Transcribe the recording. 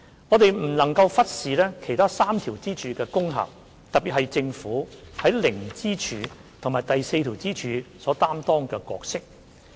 我們不能忽視其他3條支柱的功效，特別是政府在零支柱和第四支柱下所擔當的角色。